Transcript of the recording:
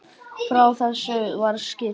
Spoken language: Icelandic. Frá þessu var skýrt.